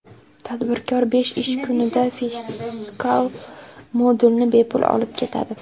Tadbirkor besh ish kunida fiskal modulni bepul olib ketadi.